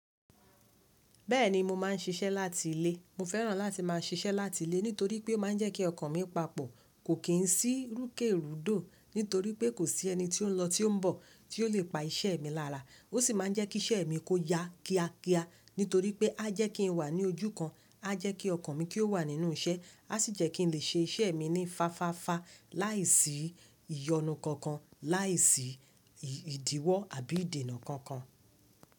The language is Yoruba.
Bẹ́ẹ̀ni mo máa ń ṣiṣẹ́ láti ilé. Mo fẹ́ràn láti máa ṣiṣẹ́ láti ilé nítorí pé ó máa ń jẹ́ kí ọkàn mi papọ̀. Kò kí ń sí rúkèrùdò nítorí pé kò sí ẹni tí ó ń lọ tí ó ń bọ̀ tí ó le pa iṣẹ́ mi lára. Ó sì máa ń jẹ́ kí iṣẹ́ mi kó yá kíá kíá nítorí pé á jẹ́ kí n wà ní ojú kan, á jẹ́ kí ọkàn mi kí ó wà nínú iṣẹ́, á sì jẹ́ kí n lè ṣe iṣẹ́ mi ní fáfáfá láìsí ìyọnu kankan, láìsí ìdíwọ́ àbí ìdènà kankan.